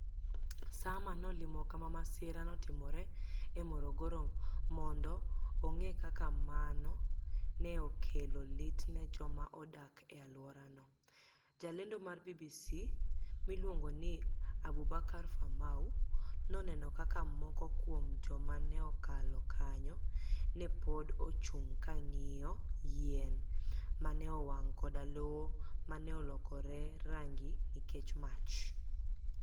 Saama nolimo kama masira notimore e Morogoro monido onig'e kaka mano ni e okelo lit ni e joma odak e alworano, jalenido mar BBC miluonigo nii Aboubakar Famau, noni eno kaka moko kuom joma ni e kalo kaniyo ni e pod ochunig ' ka ginig'iyo yieni ma ni e owanig ' koda lowo ma ni e olokore ranigi niikech mach.